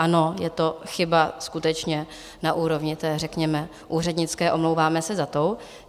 Ano, je to chyba skutečně na úrovni té, řekněme, úřednické, omlouváme se za to.